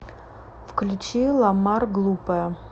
включи ламар глупая